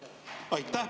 Aitäh!